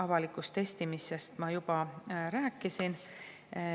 " Avalikust testimisest ma juba rääkisin.